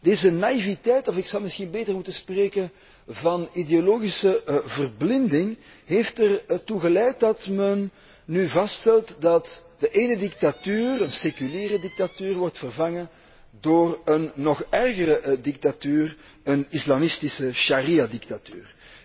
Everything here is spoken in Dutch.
Deze naïviteit of ik zou misschien beter moeten spreken van ideologische verblinding heeft ertoe geleid dat men nu vaststelt dat de ene dictatuur, een seculiere dictatuur, wordt vervangen door een nog ergere dictatuur, een islamitische shari'a dictatuur.